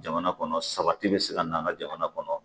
Jamana kɔnɔ sabati bɛ se ka na an ka jamana kɔnɔ